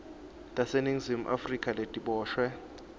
taseningizimu afrika letiboshwe